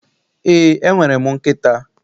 Ee, enwere m nkịta.